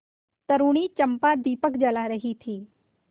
तरूणी चंपा दीपक जला रही थी